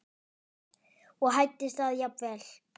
og hæddist að jafnvel